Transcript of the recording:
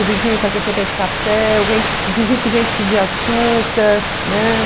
O vizinho para quem você pede café, o vizinho que vem te pedir açúcar, né?